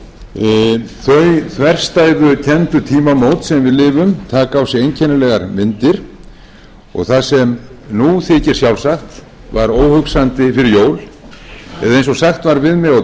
þverstæðukenndu tímamót sem við lifum taka á sig einkennilegar myndir og það sem nú þykir sjálfsagt var óhugsandi fyrir jól eða eins og sagt var við mig á